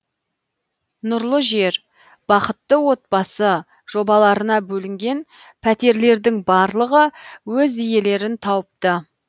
нұрлы жер бақытты отбасы жобаларына бөлінген пәтерлердің барлығы өз иелерін тауыпты